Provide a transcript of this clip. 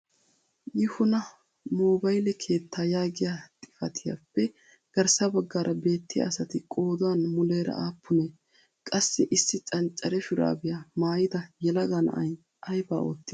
Yihuna mobayle keettaa yaagiyaa xifatiyaappe garssa baggaara beettiyaa asati qoodan muleera appunee? qassi issi cancare shuraabiyaa maayida yelaga na'ay ayba oottii?